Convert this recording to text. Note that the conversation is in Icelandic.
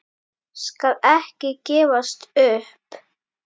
Skal ekki gefast upp.